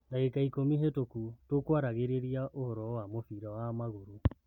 " Ndagika ikũmi hetũku tũkũaragĩrĩria ũhoro wa mũbira wa magũrũ.